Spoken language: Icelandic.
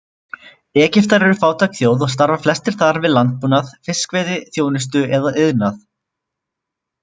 Egyptar eru fátæk þjóð og starfa flestir þar við landbúnað, fiskveiði, þjónustu eða iðnað.